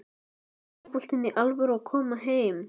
Er fótboltinn í alvöru að koma heim?